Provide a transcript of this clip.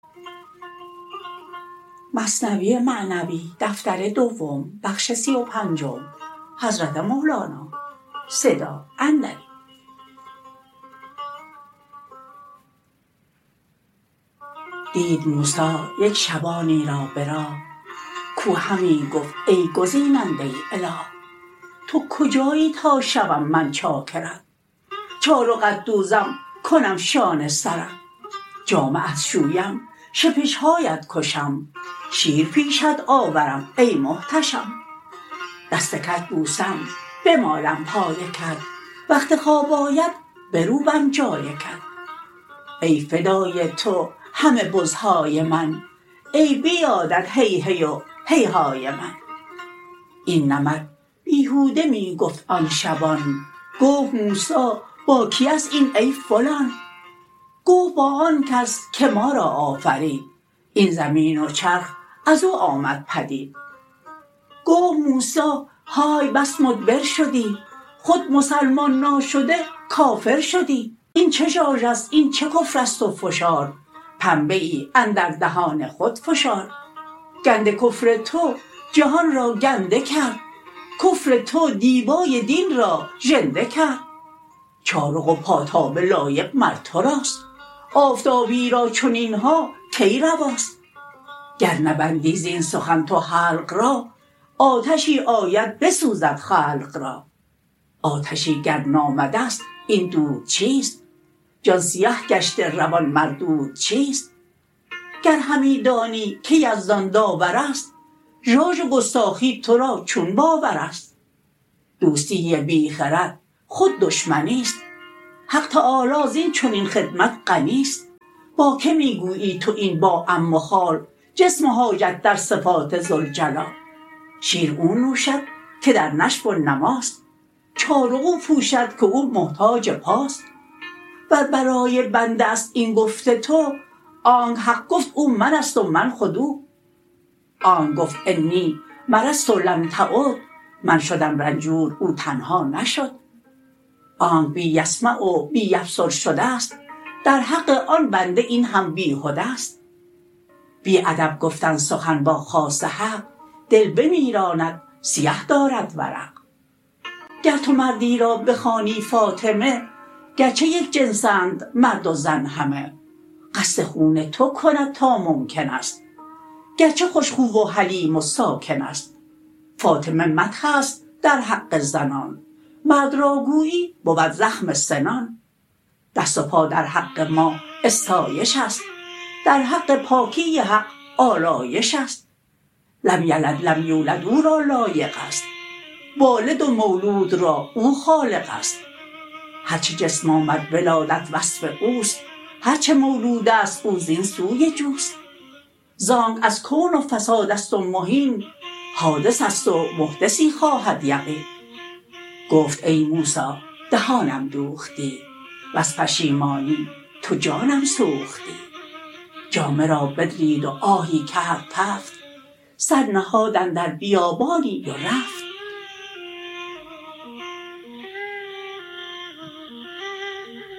دید موسی یک شبانی را به راه کو همی گفت ای گزیننده اله تو کجایی تا شوم من چاکرت چارقت دوزم کنم شانه سرت جامه ات شویم شپشهاات کشم شیر پیشت آورم ای محتشم دستکت بوسم بمالم پایکت وقت خواب آید بروبم جایکت ای فدای تو همه بزهای من ای بیادت هیهی و هیهای من این نمط بیهوده می گفت آن شبان گفت موسی با کی است این ای فلان گفت با آنکس که ما را آفرید این زمین و چرخ ازو آمد پدید گفت موسی های بس مدبر شدی خود مسلمان ناشده کافر شدی این چه ژاژست این چه کفرست و فشار پنبه ای اندر دهان خود فشار گند کفر تو جهان را گنده کرد کفر تو دیبای دین را ژنده کرد چارق و پاتابه لایق مر تراست آفتابی را چنینها کی رواست گر نبندی زین سخن تو حلق را آتشی آید بسوزد خلق را آتشی گر نامدست این دود چیست جان سیه گشته روان مردود چیست گر همی دانی که یزدان داورست ژاژ و گستاخی ترا چون باورست دوستی بی خرد خود دشمنیست حق تعالی زین چنین خدمت غنیست با کی می گویی تو این با عم و خال جسم و حاجت در صفات ذوالجلال شیر او نوشد که در نشو و نماست چارق او پوشد که او محتاج پاست ور برای بنده شست این گفت تو آنک حق گفت او منست و من خود او آنک گفت انی مرضت لم تعد من شدم رنجور او تنها نشد آنک بی یسمع و بی یبصر شده ست در حق آن بنده این هم بیهده ست بی ادب گفتن سخن با خاص حق دل بمیراند سیه دارد ورق گر تو مردی را بخوانی فاطمه گرچه یک جنس اند مرد و زن همه قصد خون تو کند تا ممکنست گرچه خوش خو و حلیم و ساکنست فاطمه مدحست در حق زنان مرد را گویی بود زخم سنان دست و پا در حق ما استایش است در حق پاکی حق آلایش است لم یلد لم یولد او را لایق است والد و مولود را او خالق است هرچه جسم آمد ولادت وصف اوست هرچه مولودست او زین سوی جوست زانک از کون و فساد است و مهین حادثست و محدثی خواهد یقین گفت ای موسی دهانم دوختی وز پشیمانی تو جانم سوختی جامه را بدرید و آهی کرد تفت سر نهاد اندر بیابانی و رفت